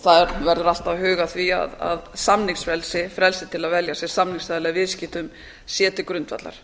það verður alltaf að huga að því að samningsfrelsi frelsi til að velja sér samningsaðila í viðskiptum sé til grundvallar